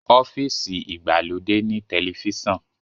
ọ́fíìsì igbalode ní Tẹlifíṣàn